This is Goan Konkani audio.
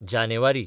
जानेवारी